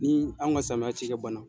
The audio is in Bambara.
Ni anw ka samiya cikɛ ban na.